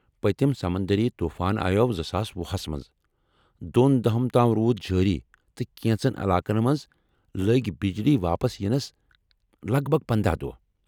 پتِم سمندری طوفان آیوو زٕساس وُہس منٛز ، دوٚن دۄہن تام روٗد جٲری تہٕ کیٚنٛژن علاقن منٛز لٔگہِ بجلی واپس ینس کرنس منٛز لگ بھگ پندہَ دۄہ